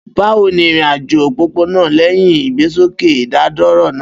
Bawo ni irin-ajo opopona lẹhin igbesoke idadoro naa?